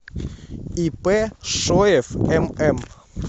ип шоев мм